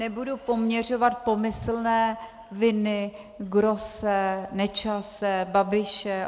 Nebudu poměřovat pomyslné viny Grosse, Nečase, Babiše.